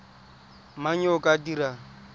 mang yo o ka dirang